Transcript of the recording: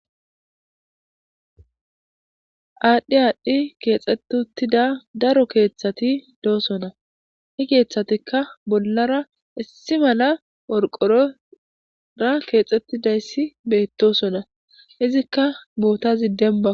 Adhdhi adhdhi keexeti uththida daro keththati deosona he keththatika bollar issi mala qorqora keexetidayssi bettossona izzika boththay dembako